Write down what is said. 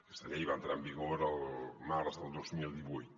aquesta llei va entrar en vigor el març del dos mil divuit